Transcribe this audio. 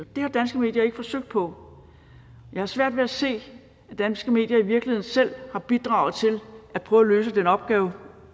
har danske medier ikke forsøgt på jeg har svært ved at se at danske medier i virkeligheden selv har bidraget til at prøve at løse den opgave